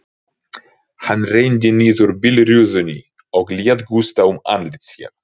Hann renndi niður bílrúðunni og lét gusta um andlit sér.